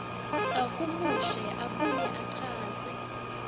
ahumushe abuye achaze